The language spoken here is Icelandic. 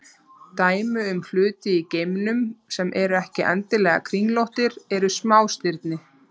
Dæmi um hluti í geimnum sem eru ekki endilega kringlóttir eru smástirni.